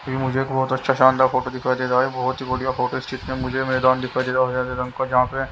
मुझे एक बहोत अच्छा शानदार फोटो दिखाई दे रहा है। बहोत ही बढ़िया फोटो है मुझे मैदान दिखाई दे रहा है हरे रंग का जहां पे--